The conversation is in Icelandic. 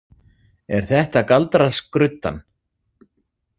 Er þetta galdraskruddan?